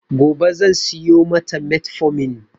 Gobe zan siyo mata metformin.